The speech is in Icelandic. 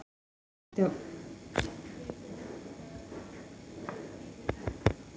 Þessi rauði litur er tilkominn vegna járnoxíðs í berginu en járnoxíð kallast öðru nafni ryð.